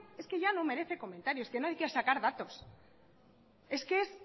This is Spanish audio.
es que ya no merece comentarios es que no hay que sacar datos es que es